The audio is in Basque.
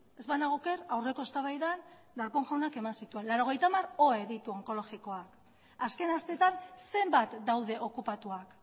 ez banago oker aurreko eztabaidan darpón jaunak eman zituen laurogeita hamar ohe ditu onkologikoak azken astetan zenbat daude okupatuak